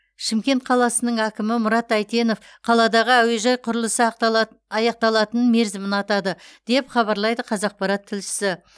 шымкент қаласының кімі мұрат әйтенов қаладағы әуежай құрылысы аяқталатын мерзімін атады деп хабарлайды қазақпарат тілшісі